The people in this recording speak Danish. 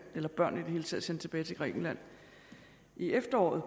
eller børn i det hele taget sendt tilbage til grækenland i efteråret